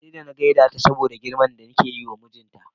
Sai da na gaida ta saboda girman da nake yiwa mijinta.